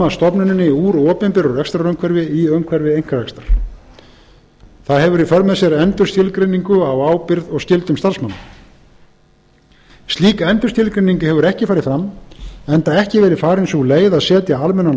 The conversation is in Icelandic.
koma stofnuninni úr opinberu rekstrarumhverfi í umhverfi einkarekstrar það hefur í för með sér endurskilgreiningu á ábyrgð og skyldum starfsmanna slík endurskilgreining hefur ekki farið fram enda ekki verið farin sú leið að setja almennan